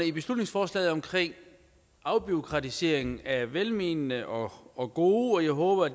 i beslutningsforslaget om afbureaukratisering er velmenende og og gode og jeg håber